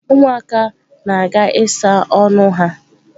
Ụmụaka na-aga ịsa ọnụ ha.